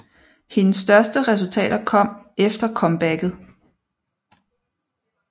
Hendes største resultater kom efter comebacket